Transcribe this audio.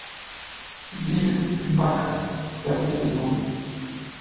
бивис и батхед пятый сезон